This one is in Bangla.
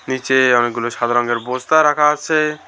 নিচে অনেকগুলো সাদা রঙের বস্তা রাখা আছে।